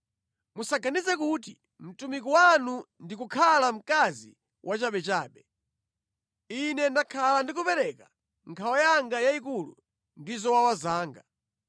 Musaganize kuti mtumiki wanu ndi kukhala mkazi wachabechabe. Ine ndakhala ndi kupereka nkhawa yanga yayikulu ndi zowawa zanga.”